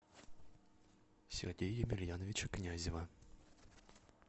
сергея емельяновича князева